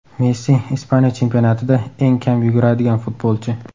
Messi – Ispaniya chempionatida eng kam yuguradigan futbolchi.